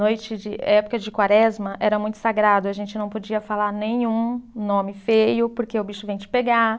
Noite de, eh época de quaresma era muito sagrado, a gente não podia falar nenhum nome feio, porque o bicho vem te pegar.